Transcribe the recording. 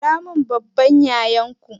Kiramin babban yayanku